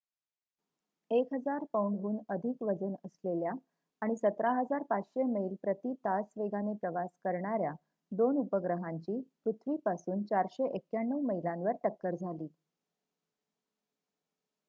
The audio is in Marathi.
१,००० पौंडहून अधिक वजन असलेल्या आणि १७,५०० मैल प्रति तास वेगाने प्रवास करणाऱ्या दोन उपग्रहांची पृथिवीपासून ४९१ मैलांवर टक्कर झाली